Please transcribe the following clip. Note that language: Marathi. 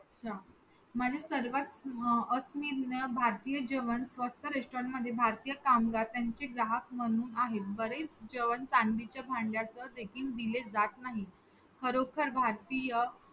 अच्छा. म्हणजे सर्वात अं अविश्वनीय भारतीय जेवण स्वच्छ restaurant मध्ये भारतीय कामगार त्यांचे ग्राहक म्हणून आहेत. बरेच जेवण चांदीच्या भांड्यात देखील दिले जात नाही. खरोखर भारतीय